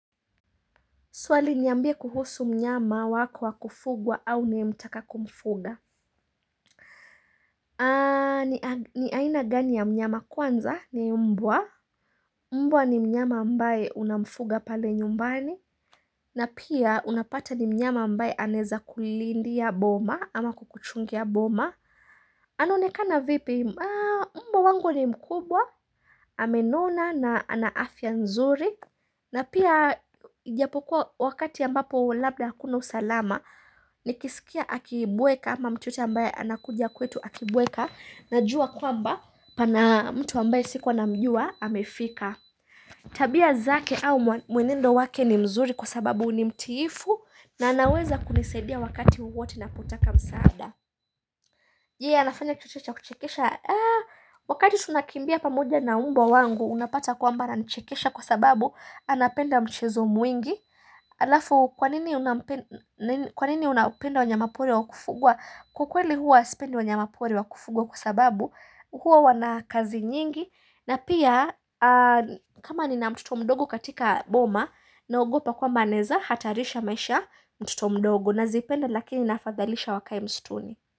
Swali, niambie kuhusu mnyama wako wa kufugwa au unayemtaka kumfuga. Ni aina gani ya mnyama? Kwanza, ni mbwa. Mbwa ni mnyama ambaye unamfuga pale nyumbani. Na pia, unapata ni mnyama ambaye anaeza kulindia boma ama kukuchungia boma. Anaonekana vipi? Mbwa wangu ni mkubwa, amenona na ana afya nzuri. Na pia ijapokuwa wakati ambapo labda hakuna usalama. Nikisikia akibweka ama mtu yeyote ambaye anakuja kwetu akibweka Najua kwamba pana mtu ambaye sikuwa namjua amefika. Tabia zake au mwenendo wake ni mzuri kwa sababu ni mtiifu. Na anaweza kunisaidia wakati wowote ninapotaka msaada. Je, anafanya kitu chochote cha kuchekesha? Wakati tunakimbia pamoja na mbwa wangu unapata kwamba ananichekesha kwa sababu anapenda mchezo mwingi. Alafu, kwa nini unawapenda wanyama pori wakufugwa? Kwa kweli huwa sipendi wanyama pori wakufugwa kwa sababu huwa wana kazi nyingi na pia. Kama nina mtoto mdogo katika boma, naogopa kwamba anaeza hatarisha maisha mtoto mdogo. Nazipenda lakini naafadhalisha wakae msituni.